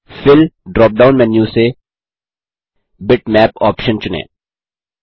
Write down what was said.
fill drop down menu से bitmap option चुनें